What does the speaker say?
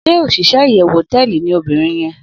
Shey osise iyewu hoteeli ni obirin ye